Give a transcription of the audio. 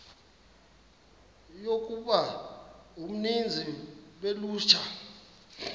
yokuba uninzi lolutsha